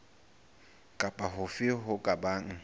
kapa hofe ho ka bang